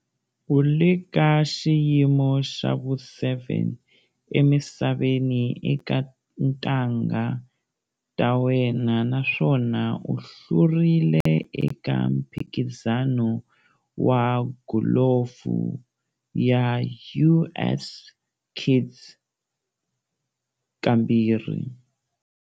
U le ka xiyimo xa vu7 emisaveni eka tintangha ta yena naswona u hlurile eka mphikizano wa golufu ya US Kids kambirhi.